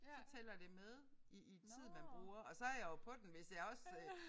Så tæller det med i i tid man bruger og så jeg jo på den hvis jeg også øh